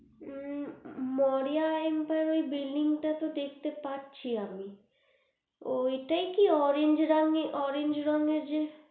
য়ু moriya emperia এর ঐ টা তো দেখতে পারছি আমি ঐটাই কি orange রঙের orange রঙের যে